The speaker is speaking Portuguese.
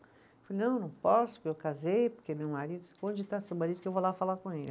Falei, não, não posso, porque eu casei, porque meu marido. Onde está seu marido que eu vou lá falar com ele?